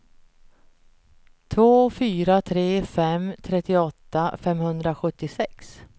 två fyra tre fem trettioåtta femhundrasjuttiosex